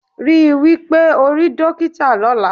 Rí wí pé ó rí dókítà lọ́la